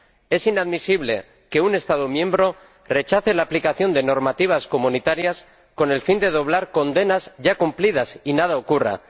Es inadmisible que un Estado miembro rechace la aplicación de normativas comunitarias con el fin de doblar condenas ya cumplidas y que nada ocurra.